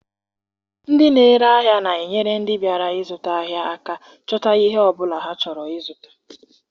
Ndị n'ere ahịa na-enyere ndị bịara ịzụta ahịa aka chọta ihe ọ bụla ha chọrọ ịzụta.